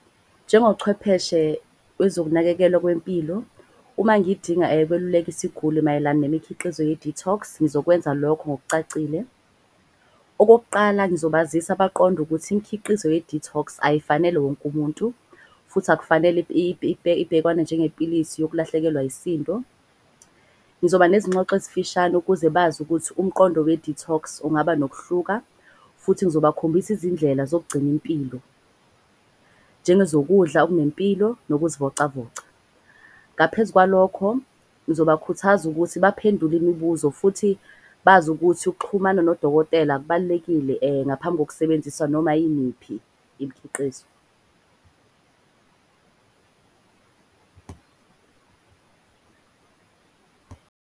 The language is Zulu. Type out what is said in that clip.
Njengochwepheshe wezokunakekelwa kwempilo uma ngidinga ukweluleka isiguli mayelana nemikhiqizo ye-detox. Ngizokwenza lokho ngokucacile. Okokuqala sizobazisa baqonde ukuthi imikhiqizo ye-detox ayifanele wonke umuntu, futhi akufanele ibhekwane njenge pilisi yokulahlekelwa isisindo. Ngizoba nezingxoxo ezifishane ukuze bazi ukuthi umqondo we-detox ungaba nokuhluka. Futhi ngizobakhombisa izindlela zokugcina impilo njengezokudla okunempilo nokuzivocavoca. Ngaphezu kwalokho ngizobakhuthaza ukuthi baphendule imibuzo. Futhi bazi ukuthi ukuxhumana nodokotela kubalulekile ngaphambi kokusebenzisa noma yimiphi imikhiqizo.